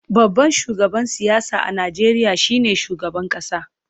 Babban shugaban siyasa a Najeriya shine shugaban kasa.